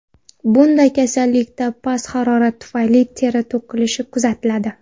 Bunday kasallikda past harorat tufayli teri to‘kilishi kuzatiladi.